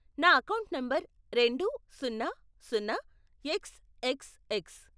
నా account number రెండు, సున్నా, సున్నా, ఎక్స్, ఎక్స్, ఎక్స్.